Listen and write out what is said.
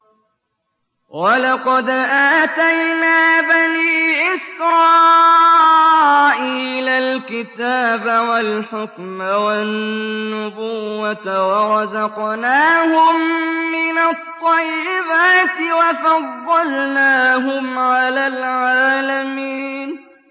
وَلَقَدْ آتَيْنَا بَنِي إِسْرَائِيلَ الْكِتَابَ وَالْحُكْمَ وَالنُّبُوَّةَ وَرَزَقْنَاهُم مِّنَ الطَّيِّبَاتِ وَفَضَّلْنَاهُمْ عَلَى الْعَالَمِينَ